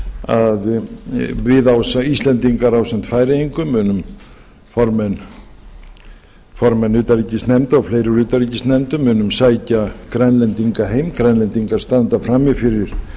að við íslendingar ásamt færeyingum formenn utanríkisnefndar og fleiri úr utanríkisnendum munum sækja grænlendinga heim grænlendingar standa frammi fyrir